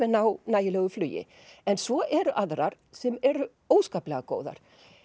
ná nægilegu flugi en svo eru aðrar sem eru óskaplega góðar